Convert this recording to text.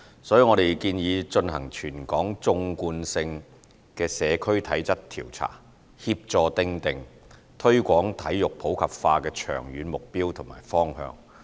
所以我們建議進行全港縱貫性的社區體質調查，協助訂定推廣體育普及化的長遠目標和方向。